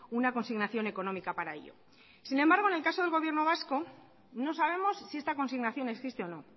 una consignación económica para ello sin embargo en el caso del gobierno vasco no sabemos si esta consignación existe o no